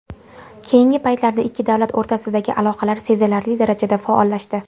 Keyingi paytlarda ikki davlat o‘rtasidagi aloqalar sezilarli darajada faollashdi.